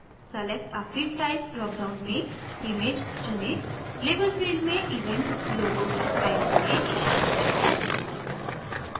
select a field type dropdown में image चुनें label field में event logo type करें